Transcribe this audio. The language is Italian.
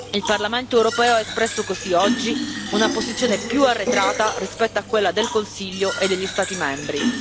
Il Parlamento europeo ha espresso così oggi una posizione più arretrata rispetto a quella del Consiglio e degli Stati membri.